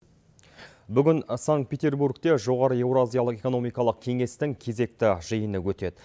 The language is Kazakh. бүгін санкт петербургте жоғары еуразиялық экономикалық кеңестің кезекті жиыны өтеді